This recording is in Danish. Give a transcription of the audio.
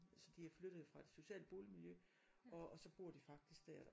Så de er flyttet fra et socialt boligmiljø og og så bor de faktisk dér